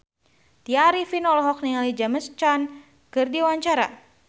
Tya Arifin olohok ningali James Caan keur diwawancara